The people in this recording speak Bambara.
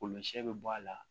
Golo sɛ bɛ bɔ a la